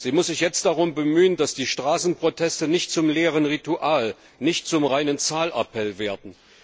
Sie muss sich jetzt darum bemühen, dass die Straßenproteste nicht zum leeren Ritual, nicht zum reinen Zahlappell werden.